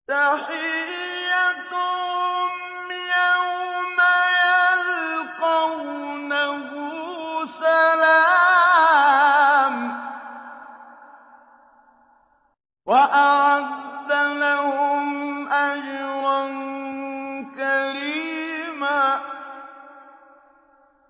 تَحِيَّتُهُمْ يَوْمَ يَلْقَوْنَهُ سَلَامٌ ۚ وَأَعَدَّ لَهُمْ أَجْرًا كَرِيمًا